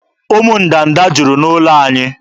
Ụmụ ndanda juru n'ụlọ anyị.